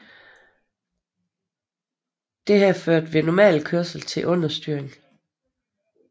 Dette førte ved normal kørsel til understyring